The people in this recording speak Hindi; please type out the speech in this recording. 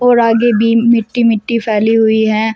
और आगे भी मिट्टी मिट्टी फैली हुई है।